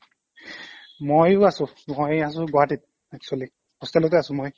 ময়ো আছোঁ মই আছোঁ গুৱাহাটীত actually hostel তে আছোঁ মই